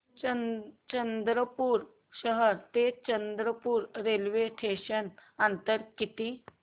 चंद्रपूर शहर ते चंद्रपुर रेल्वे स्टेशनचं अंतर किती